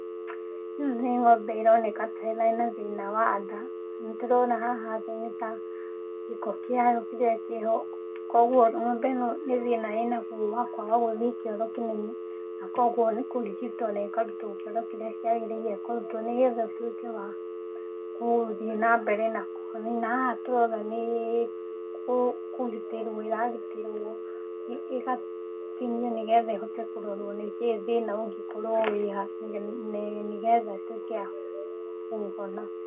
Ĩno nĩ ng'ombe ironeka ta ĩna thĩna wa nda. Nĩ ndĩrona haha thĩ nĩ ta gĩko kĩayo kĩrĩa kĩho, koguo ng'ombe ĩno nĩ thĩna ĩnaguo wa kwaga gũthiĩ kĩoro kĩnene na koguo nĩ kũrigitwo na ĩkarutwo kĩoro kĩrĩa kĩagĩrĩirwo kũrutwo nĩgetha ĩtuĩke wa gũthiĩ na mbere na kũhona. Na haha tũrona nĩ kũgitĩrwo ĩragitĩrwo ĩgatinio nĩgetha ĩhote kũrorwo nĩkiĩ thĩna ũngĩkorwo wĩha nĩgetha ĩtuĩke ya kũhona.